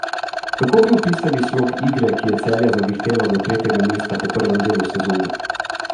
Kako bi opisali slog igre, ki je Celje zavihtelo do tretjega mesta po prvem delu sezone?